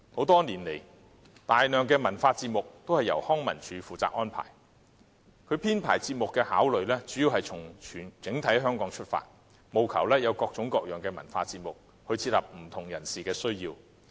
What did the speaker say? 多年來，大量的文化節目都由康樂及文化事務署負責安排，其編排節目的考慮主要從香港整體出發，務求有各種各樣的文化節目，切合不同人士的需要。